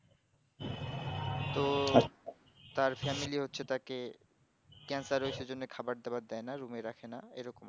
তো তার family হচ্ছে তাকে cancer হয়েছে সেই জন্য খাবার দাবার দেয় না room এ রাখেনা